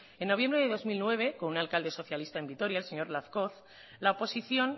en noviembre de dos mil nueve con un alcalde socialista en vitoria el señor lazcoz la oposición